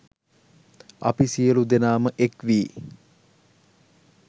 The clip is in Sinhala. අපි සියලු දෙනාම එක්වී